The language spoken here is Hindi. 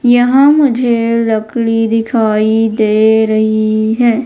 यहां मुझे लकड़ी दिखाई दे रही है।